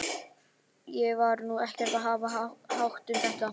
Ég var nú ekkert að hafa hátt um þetta.